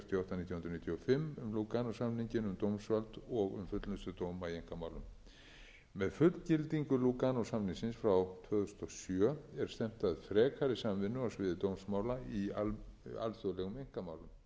lúganósamninginn um dómsvald og um fullnustu dóma í einkamálum með fullgildingu lúganósamningsins frá tvö þúsund og sjö er stefnt að frekari samvinnu á sviði dómsmála í alþjóðlegum einkamálum